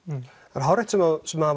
það er hárrétt sem sem